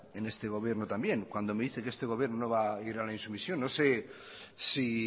en este gobierno también cuando me dice que este gobierno no va a ir a la insumisión no sé si